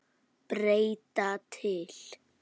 Breyta til.